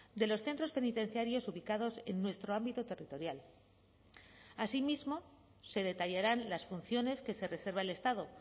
de los centros penitenciarios ubicados en nuestro ámbito territorial asimismo se detallarán las funciones que se reserva el estado